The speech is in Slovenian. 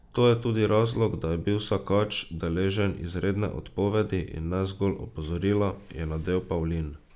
To je tudi razlog, da je bil Sakač deležen izredne odpovedi in ne zgolj opozorila, je navedel Pavlin.